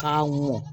K'a mɔ